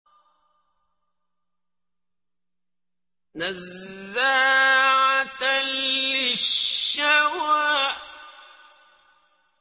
نَزَّاعَةً لِّلشَّوَىٰ